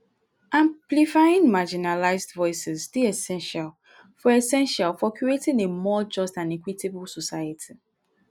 amplifying marginalized voices dey essential for essential for creating a more just and equitable society.